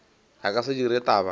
a ka se dire taba